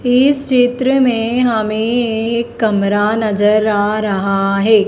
इस चित्र में हमें एक कमरा नजर आ रहा है।